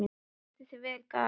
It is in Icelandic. Þú stendur þig vel, Gael!